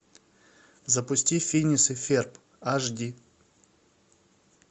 запусти финес и ферб аш ди